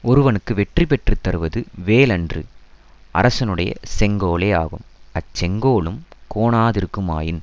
ஒருவனுக்கு வெற்றி பெற்று தருவது வேல் அன்று அரசனுடைய செங்கோலே ஆகும் அச் செங்கோலும் கோணாதிருக்குமாயின்